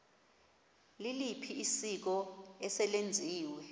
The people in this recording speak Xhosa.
liliphi isiko eselenziwe